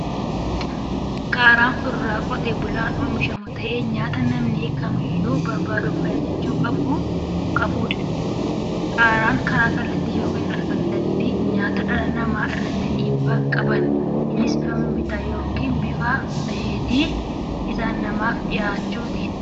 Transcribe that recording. Qaaraan fuduraa qotee bulaan oomishamu ta'ee, nyaata namni kamiiyyuu barbaaduu fi ajajachuu qabudha. Qaaraan karaa kallattiin yookiin al kallattiin nyaata dhala namaa irratti dhiibbaa qaba. Innis bifa mixmixaan yookiin bifa asheetii isaan namaaf dhiyaachuuni.